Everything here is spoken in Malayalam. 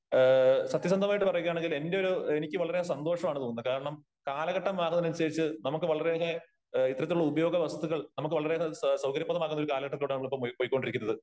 ഏ സത്യസന്ധമായിട്ട് പറയുകയാണെങ്കിൽ എന്റെ ഒരു എനിക്ക് വളരെ സന്തോഷമാണ് തോന്നുന്നേ കാരണം കാലഘട്ടം മാറുന്നതിനനുസരിച്ച് നമുക്ക് വളരെ ഏറെ ഇത്തരത്തിലുള്ള ഉപയോഗ വസ്തുക്കൾ നമുക്ക് വളരേ ഏറെ സൌകര്യപ്രദമായ കാലഘട്ടത്തിലോട്ടാണ് നമ്മൾ ഇപ്പോൾ പൊയ്ക്കൊണ്ടിരിക്കുന്നത്.